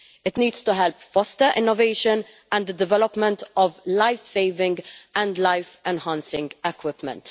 It needs to help foster innovation and the development of life-saving and life-enhancing equipment.